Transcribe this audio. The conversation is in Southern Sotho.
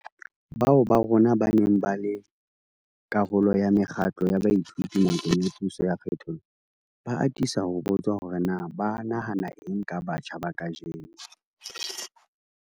Bao ba rona ba neng ba le karolo ya mekgatlo ya baithuti nakong ya puso ya kgethollo, ba atisa ho botswa hore na ba nahana eng ka batjha ba kajeno.